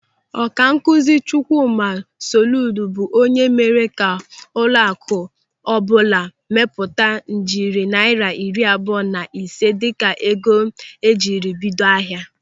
Ọkankụzi Chukwuma Soludo bụ onye mere ka ụlọaku ọbụla mapụta ijeri naira iri abụọ na ise dịka ego njiribido ahịa.